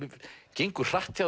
gengur hratt hjá